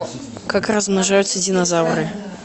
как размножаются динозавры